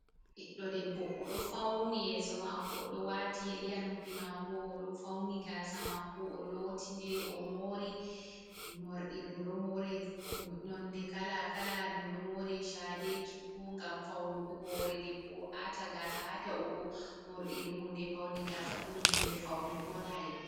Ɓiɗɗo debbo odo fauni yeso mako odo wati yeri ha nopbi mako. Oɗo fauni gasa mako, o'loti nde ɗo mori morɗi. Ɗum ɗo more nonde kala-kala, ɗum ɗo more chade, cuku ngam faunugo hore, debbo ata gasa ha ta’ugo. Morɗi ɗum hunde paune; gasa fu ɗum hunde faunugo on ha debbo.